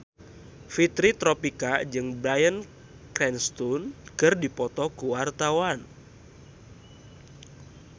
Fitri Tropika jeung Bryan Cranston keur dipoto ku wartawan